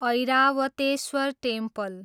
Airavatesvara temple